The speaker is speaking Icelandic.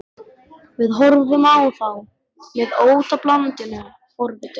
Við horfðum á þá með óttablandinni forvitni.